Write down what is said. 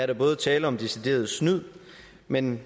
der både tale om decideret snyd men